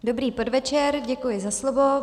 Dobrý podvečer, děkuji za slovo.